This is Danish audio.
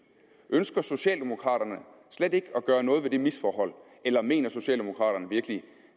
ønsker socialdemokraterne slet ikke at gøre noget ved det misforhold eller mener socialdemokraterne virkelig